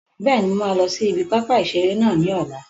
Bẹ́ẹ̀ni, mo máa lọ sí ibi pápá ìseré náà ní ọ̀la